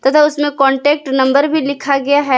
तथा उसमें contact number भी लिखा गया है।